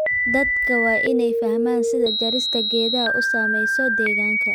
Dadka waa in ay fahmaan sida jarista geedaha u saameynayso deegaanka.